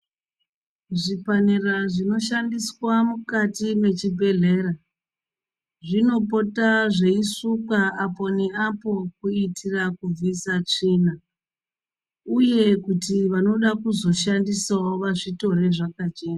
Zvipanera zvinoshandiswa mukati mwechibhedhlera zvinopota zveisukwa apo neapo kuitira kubvisa tsvina uye kuti vanoda kuzoshandisawo vazvitore zvakachena.